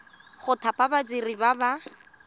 go thapa badiri ba ba